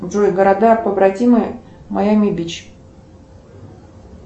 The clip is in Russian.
джой города побратимы майами бич